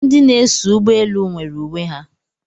Ndị na-eso ụgbọelu nwere uwe ha